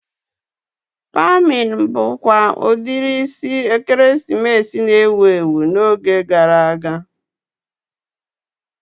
Pemin bụkwa udiri isi ekeresimesi na-ewu ewu n'oge gara aga